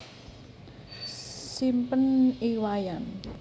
Simpen I Wayan